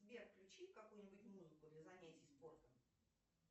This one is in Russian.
сбер включи какую ни будь музыку для занятий спортом